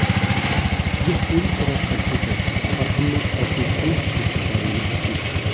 यह पूरी तरह फर्ज़ी है और हमने ऐसी कोई सूची जारी नहीं की है